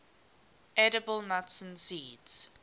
edible nuts and seeds